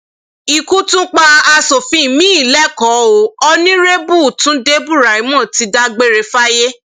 ikú tún pa asòfin miín lẹkọọ o onírèbù túnde buraimoh ti dágbére fáyé